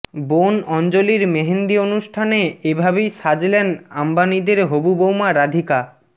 বোন অঞ্জলির মেহেন্দি অনুষ্ঠানে এভাবেই সাজলেন আম্বানিদের হবু বউমা রাধিকা